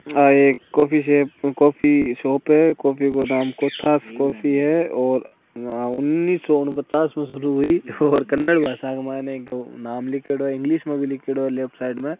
आ एक coffee shape coffee shop है coffee को नाम कोथास कॉफ़ी है और उन्निस्सो उन पचास में सुरु हुई और कन्नड भासा के माइन इको नाम लिखेड़ो है इग्लिश में भी लिखेड़ो है लेफ्ट साइड में।